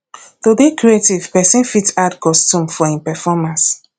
to dey creative person fit add costume for im performace